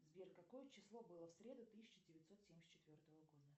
сбер какое число было в среду тысяча девятьсот семьдесят четвертого года